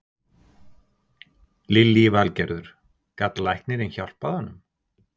Lillý Valgerður: Gat læknirinn hjálpað honum?